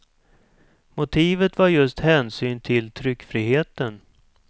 Motivet var just hänsyn till tryckfriheten.